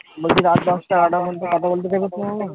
বলছি রাত দশটা এগারোটা পর্যন্ত কোথা বলতে দেবে তোমার মা